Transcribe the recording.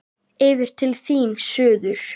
Yfir til þín, suður.